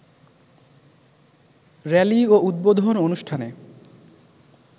rally ও উদ্বোধন অনুষ্ঠানে